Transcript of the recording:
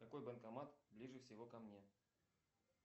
какой банкомат ближе всего ко мне